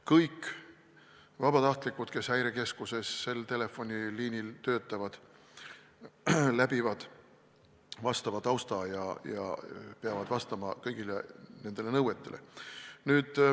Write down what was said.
Kõik vabatahtlikud, kes Häirekeskuse telefoniliinil töötavad, läbivad vastava taustakontrolli ja peavad vastama kõigile nõuetele.